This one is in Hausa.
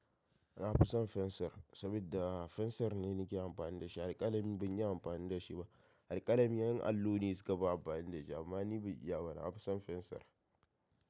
Na fi son fensar, saboda fensar ne nake amfani da shi. Alƙalami ban yi amfani da shi ba. Alƙalami yan allo ne suka ba amfani da shi, amma ni ban iya ba. Na fi son fensir.